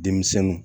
Denmisɛnninw